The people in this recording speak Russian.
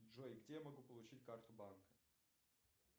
джой где я могу получить карту банка